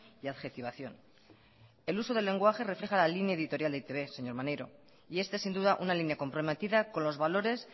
y adjetivación el uso del lenguaje refleja la línea editorial de e i te be señor maneiro y este es sin duda una línea comprometida con los valores